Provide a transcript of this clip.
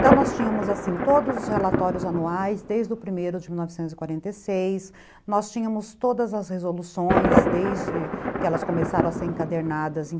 Então nós tínhamos assim todos os relatórios anuais desde o primeiro de mil novecentos e quarenta e seis, nós tínhamos todas as resoluções desde que elas começaram a ser encadernadas em